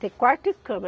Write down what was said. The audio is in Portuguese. Ter quarto e cama.